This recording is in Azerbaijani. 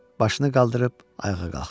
Başını qaldırıb ayağa qalxdı.